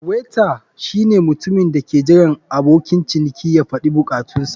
Waiter shine mutumin da ke jiran abokin ciniki ya faɗi bukatunsa.